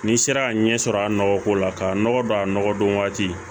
N'i sera ka ɲɛ sɔrɔ a nɔgɔko la ka nɔgɔ don a nɔgɔ don waati